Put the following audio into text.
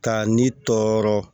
Ka ni tɔɔrɔ